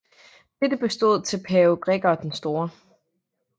Dette bestod til pave Gregor den Store